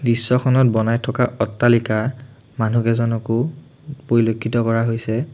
দৃশ্যখনত বনাই থকা অট্টালিকা মনুহকেইজনকো পৰিলক্ষিত কৰা হৈছে।